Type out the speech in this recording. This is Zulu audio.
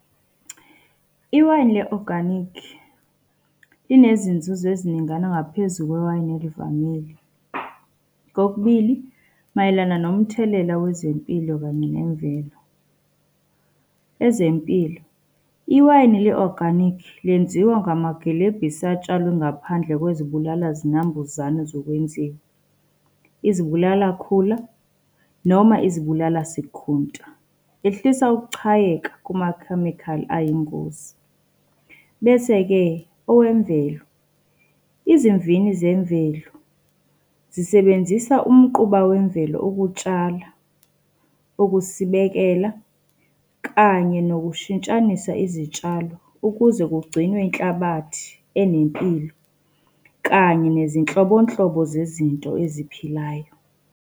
Iwayini le-organic, linezinzuzo eziningana ngaphezu kwewayini elivamile. Kokubili mayelana nomthelela wezempilo kanye nemvelo. Ezempilo, iwayini le-organic lenziwa ngamagilebhisi atshalwe ngaphandle kwezibulala zinambuzane zokwenziwa, izibulala khula noma izibulala sikhunta. Ehlisa ukuchayeka kumakhemikhali ayingozi. Bese-ke owemvelo, izimvini zemvelo zisebenzisa umquba wemvelo ukutshala, ukusibekela, kanye nokushintshanisa izitshalo ukuze kugcinwe inhlabathi enempilo, kanye nezinhlobonhlobo zezinto eziphilayo.